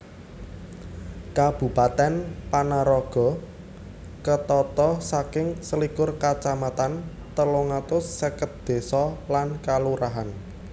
Kabupatèn Panaraga ketata saking selikur kacamatan telung atus seket désa lan kalurahan